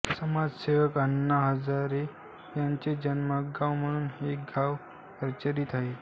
समाज सेवक अण्णा हजारे यांचे जन्मगाव म्हणून हे गाव परिचीत आहे